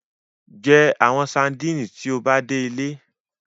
Jẹ awọn sadinit ti o ba de ile